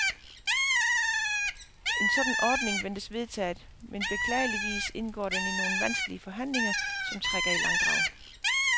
En sådan ordning ventes vedtaget, men beklageligvis indgår den i nogle vanskelige forhandlinger, som trækker i langdrag.